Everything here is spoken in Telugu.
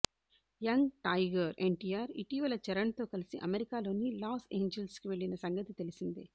యంగ్ టైగర్ ఎన్టీఆర్ ఇటీవల చరణ్ తో కలిసి అమెరికాలోని లాస్ ఏంజెల్స్ కి వెళ్లిన సంగతి తెలిసిందే